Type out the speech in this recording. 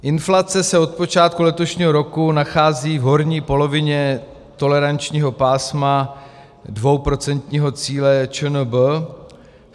Inflace se od počátku letošního roku nachází v horní polovině tolerančního pásma dvouprocentního cíle ČNB.